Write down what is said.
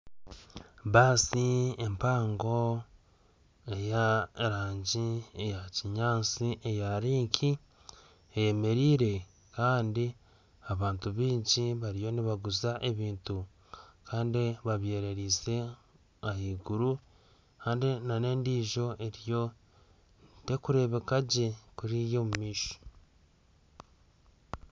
Baasi empango ey'erangi eyakinyaatsi eya Link eyemereire kandi abantu baingi bariyo nibaguza ebintu kandi babyereza ahaiguru kandi n'endiijo eriyo terikureebeka gye kuriya omu maisho